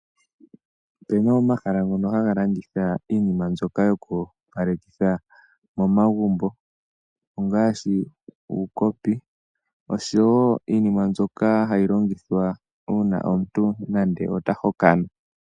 Opu na omahala ngono haga landitha iinima yokuopalekitha momagumbo ngaashi uukopi oshowo iinima mbyoka hayi longithwa uuna omuntu nando ota hokana.